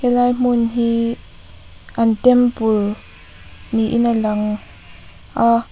helai hmun hi an temple niin a lang a.